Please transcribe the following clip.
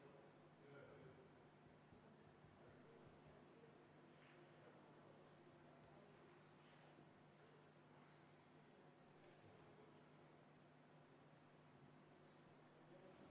Poolt on 2 ja vastu 56.